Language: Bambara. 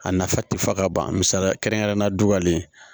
A nafa ti fa ka ban misali kɛrɛnkɛrɛnnenya duwawu